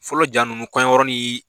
Fɔlɔ ja ninnu kɔɲɔyɔrɔ ni